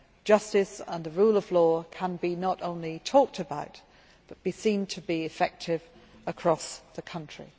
justice and the rule of law can be not only talked about but can be seen to be effective across the country.